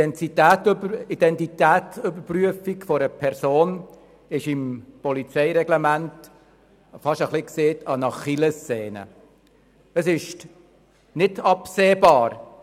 der SiK. Die Identitätsüberprüfung einer Person ist im Polizeireglement beinahe eine Art Achillessehne.